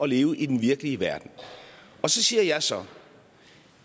leve i den virkelige verden så siger jeg så